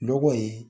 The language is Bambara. Nɔgɔ in